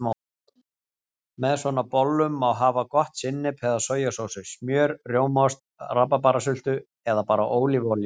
Með svona bollum má hafa gott sinnep eða sojasósu, smjör, rjómaost, rabarbarasultu eða bara ólífuolíu.